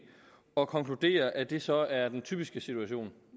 og konkluderer at det så er den typiske situation